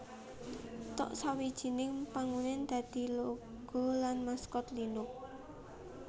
Tux sawijining Penguin dadi logo lan maskot Linux